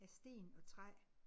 Af sten og træ